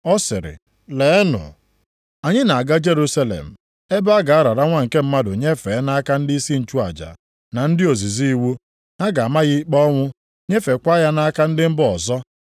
Ọ sịrị, “Leenụ, anyị na-aga Jerusalem, ebe a ga-arara Nwa nke Mmadụ nyefee nʼaka ndịisi nchụaja na ndị ozizi iwu. Ha ga-ama ya ikpe ọnwụ, nyefekwa ya nʼaka ndị mba ọzọ.